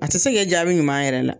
A tɛ se k'e jaabi ɲuman yɛrɛ la.